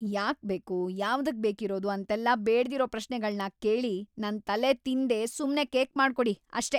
ಯಾಕ್‌ ಬೇಕು, ಯಾವ್ದಕ್‌ ಬೇಕಿರೋದು ಅಂತೆಲ್ಲ ಬೇಡ್ದಿರೋ ಪ್ರಶ್ನೆಗಳ್ನ ಕೇಳಿ ನನ್‌ ತಲೆತಿನ್ದೇ ಸುಮ್ನೆ ಕೇಕ್‌ ಮಾಡ್ಕೊಡಿ ಅಷ್ಟೇ!